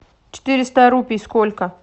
четыреста рупий сколько